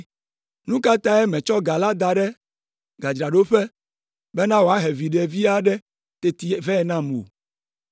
nu ka tae mètsɔ ga la da ɖe gadzraɖoƒe bena wòahe viɖe vi aɖe teti vɛ nam o?’